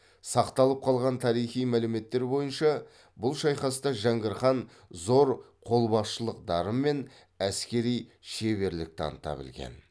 сақталып қалған тарихи мәліметтер бойынша бұл шайқаста жәңгір хан зор қолбасшылық дарын мен әскери шеберлік таныта білген